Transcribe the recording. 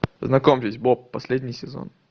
знакомьтесь боб последний сезон